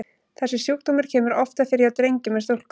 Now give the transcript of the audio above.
Þessi sjúkdómur kemur oftar fyrir hjá drengjum en stúlkum.